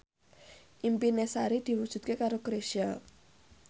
impine Sari diwujudke karo Chrisye